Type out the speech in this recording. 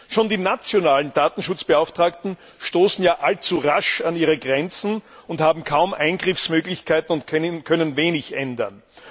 Schon die nationalen Datenschutzbeauftragten stoßen ja allzu rasch an ihre Grenzen, haben kaum Eingriffsmöglichkeiten und können wenig ändern.